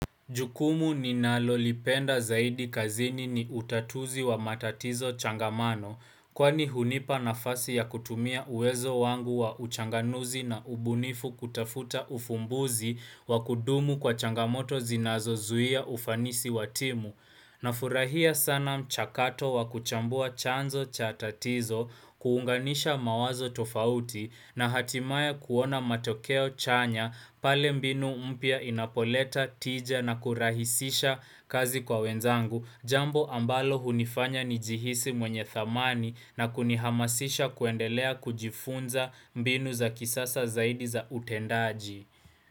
Jukumu ninalolipenda zaidi kazini ni utatuzi wa matatizo changamano kwani hunipa nafasi ya kutumia uwezo wangu wa uchanganuzi na ubunifu kutafuta ufumbuzi wakudumu kwa changamoto zinazozuia ufanisi wa timu. Nafurahia sana mchakato wa kuchambua chanzo cha tatizo kuunganisha mawazo tofauti na hatimaye kuona matokeo chanya pale mbinu mpya inapoleta tija na kurahisisha kazi kwa wenzangu jambo ambalo hunifanya nijihisi mwenye thamani na kunihamasisha kuendelea kujifunza mbinu za kisasa zaidi za utendaji.